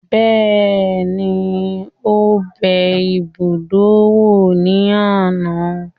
Bẹ́ẹ̀ni, ó bẹ ibùdó wò ní àná